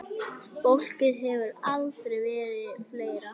Fólkið hefur aldrei verið fleira.